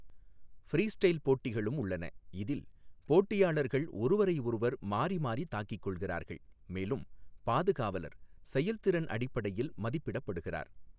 Freestyle போட்டிகளும் உள்ளன, இதில் போட்டியாளர்கள் ஒருவரையொருவர் மாறி மாறி தாக்கிக் கொள்கிறார்கள், மேலும் பாதுகாவலர் செயல்திறன் அடிப்படையில் மதிப்பிடப்படுகிறார்.